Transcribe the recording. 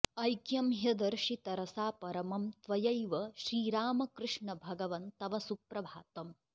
ऐक्यं ह्यदर्शि तरसा परमं त्वयैव श्रीरामकृष्णभगवन् तव सुप्रभातम्